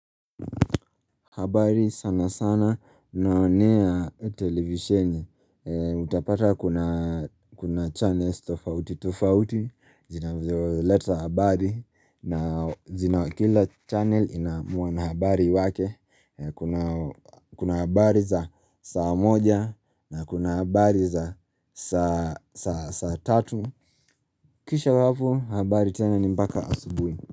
Habari sana sana naonea televisheni Utapata kuna channels tofauti tofauti zinazoleta habari na zina kila channel ina mwana habari wake Kuna habari za saa moja na kuna habari za saa tatu Kisha ya hapo habari tena ni mpaka asubuhi.